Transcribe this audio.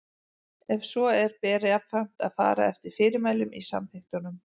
Ef svo er ber jafnframt að fara eftir fyrirmælum í samþykktunum.